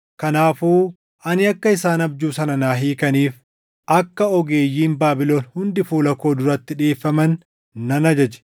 Kanaafuu ani akka isaan abjuu sana naa hiikaniif akka ogeeyyiin Baabilon hundi fuula koo duratti dhiʼeeffaman nan ajaje.